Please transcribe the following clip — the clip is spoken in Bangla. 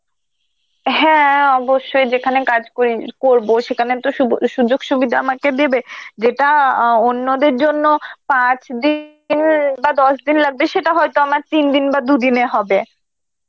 হ্যাঁ অবশ্যই যেখানে কাজ করি~ করব সেখানে তো শুভ~ সুযোগ-সুবিধা আমাকে দেবে, যেটা আ অন্যদের জন্য পাঁচ দিনের বা দশ দিন লাগবে সেটা হয়ত আমার তিন দিন বা দুদিনে হবে.